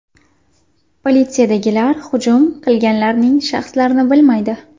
Politsiyadagilar hujum qilganlarning shaxslarini bilmaydi.